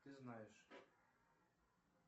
ты знаешь